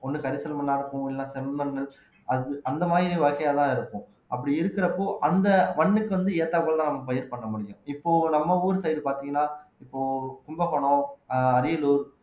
ஒண்ணு கரிசல் மண்ணா இருக்கும் இல்லைன்னா செம்மண் அந்த மாதிரி வாய்க்காலாக இருக்கும் அப்படி இருக்கிறப்போ அந்த மண்ணுக்கு வந்து ஏத்தாற்போலதான் நம்ம பயிர் பண்ண முடியும் இப்போ நம்ம ஊர் side பார்த்தீங்கன்னா இப்போ கும்பகோணம் அரியலூர்